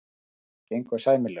Það gengur sæmilega.